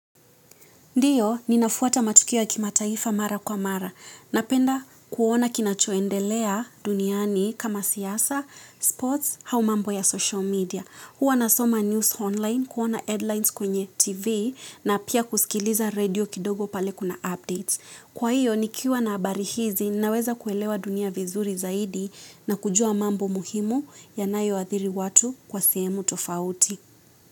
Ndiyo, ninafuata matukio ya kimataifa mara kwa mara. Napenda kuona kinachoendelea duniani kama siasa, sports, au mambo ya social media. Huwa nasoma news online, kuona headlines kwenye TV, na pia kusikiliza redio kidogo pale kuna updates. Kwa hiyo, nikiwa nabarizi, naweza kuelewa dunia vizuri zaidi na kujua mambo muhimu ya nayoathiri watu kwa sehemu tofauti.